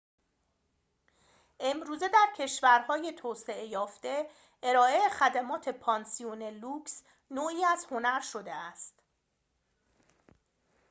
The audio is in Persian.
امروزه در کشورهای توسعه یافته ارائه خدمات پانسیون لوکس نوعی از هنر شده است